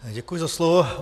Děkuji za slovo.